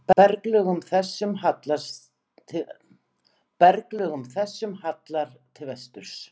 Berglögum þessum hallar til vesturs.